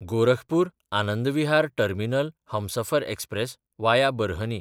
गोरखपूर–आनंद विहार terminal Humsafar express (वाया Barhni)